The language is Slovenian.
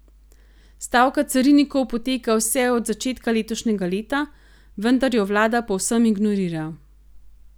Stavka carinikov poteka vse od začetka letošnjega leta, vendar jo vlada povsem ignorira.